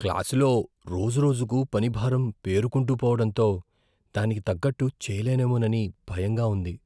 క్లాసులో రోజురోజుకు పని భారం పేరుకుంటూ పోవడంతో దానికి తగ్గట్టు చేయలేమోనని భయంగా ఉంది.